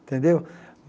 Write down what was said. Tendeu?